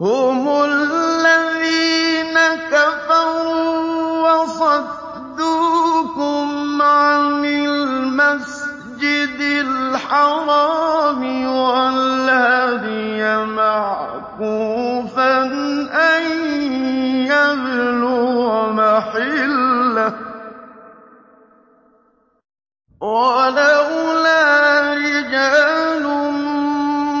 هُمُ الَّذِينَ كَفَرُوا وَصَدُّوكُمْ عَنِ الْمَسْجِدِ الْحَرَامِ وَالْهَدْيَ مَعْكُوفًا أَن يَبْلُغَ مَحِلَّهُ ۚ وَلَوْلَا رِجَالٌ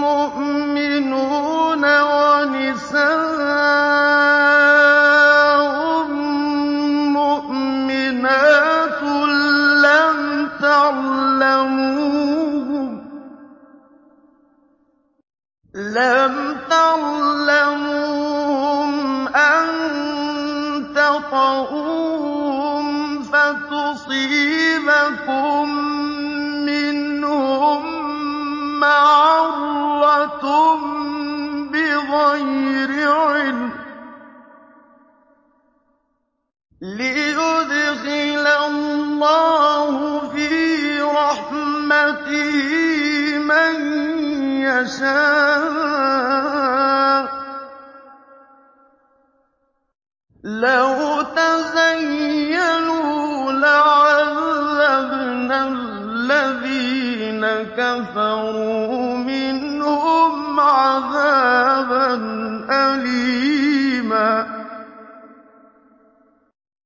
مُّؤْمِنُونَ وَنِسَاءٌ مُّؤْمِنَاتٌ لَّمْ تَعْلَمُوهُمْ أَن تَطَئُوهُمْ فَتُصِيبَكُم مِّنْهُم مَّعَرَّةٌ بِغَيْرِ عِلْمٍ ۖ لِّيُدْخِلَ اللَّهُ فِي رَحْمَتِهِ مَن يَشَاءُ ۚ لَوْ تَزَيَّلُوا لَعَذَّبْنَا الَّذِينَ كَفَرُوا مِنْهُمْ عَذَابًا أَلِيمًا